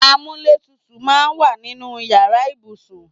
Amúlétutù máa ń wà nínú ìyára ibùsùn.